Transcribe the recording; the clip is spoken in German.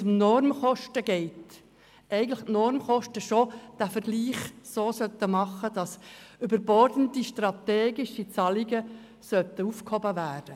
Die Normkosten sollten den Vergleich eigentlich bereits so anstellen, dass überbordende strategische Zahlungen aufgehoben werden.